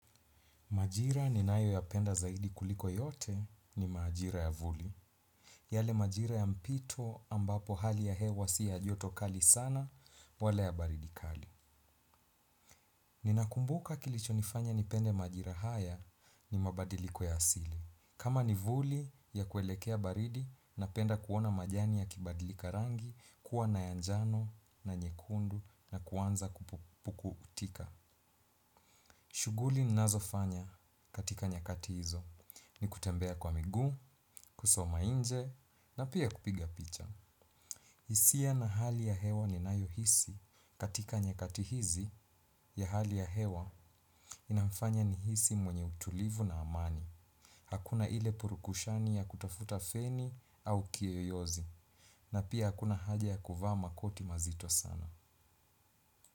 Majira ninayoyapenda zaidi kuliko yote ni majira ya vuli. Yale majira ya mpito ambapo hali ya hewa si ya joto kali sana wala ya baridi kali. Ninakumbuka kilichonifanya nipende majira haya ni mabadiliko ya asili. Kama ni vuli ya kuelekea baridi na penda kuona majani yakibadilika rangi kuwa na yanjano na nyekundu na kuanza kupukutika. Shughuli ninazofanya katika nyakati hizo ni kutembea kwa miguu, kusoma nje na pia kupiga picha. Hisia na hali ya hewa ninayohisi katika nyakati hizi ya hali ya hewa inafanya nihisi mwenye utulivu na amani. Hakuna ile purukushani ya kutafuta feni au kiyoyozi na pia hakuna haja ya kuvaa makoti mazito sana.